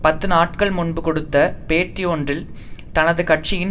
பத்து நாட்கள் முன்பு கொடுத்த பேட்டியொன்றில் தனது கட்சியின்